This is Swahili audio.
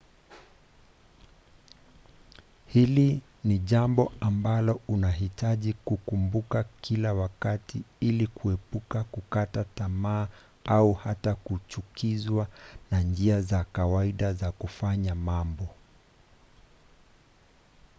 hili ni jambo ambalo unahitaji kukumbuka kila wakati ili kuepuka kukata tamaa au hata kuchukizwa na njia za kawaida za kufanya mambo